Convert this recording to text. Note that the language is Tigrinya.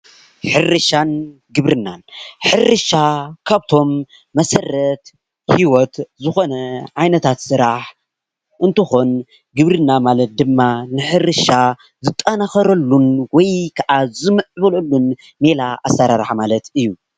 ሕርሻን ግብርናን :‑ሕርሻ ካብቶም መሰረት ሂወት ዝኮነ ዓይነታት ስራሕ እንትኮን ግብርና ማለት ድማ ንሕርሻ ዝጠናከረሉን ወይ ክዓ ዝምዕብለሉን ሜላ ኣሰራርሓ ማለት እዩ፡፡